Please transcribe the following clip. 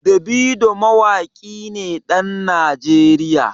Davido mawaƙi ne ɗan Najeriya.